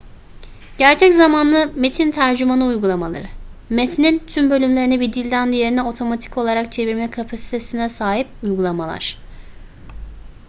gerçek zamanlı metin tercümanı uygulamaları metnin tüm bölümlerini bir dilden diğerine otomatik olarak çevirme kapasitesine sahip uygulamalar